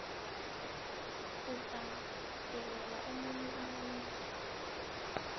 ubhadelela omunye umuntu